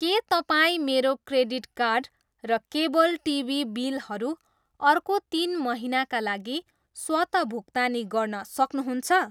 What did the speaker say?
के तपाईँ मेरो क्रेडिट कार्ड र केबल टिभी बिलहरू अर्को तिन महिनाका लागि स्वतः भुक्तानी गर्न सक्नुहुन्छ?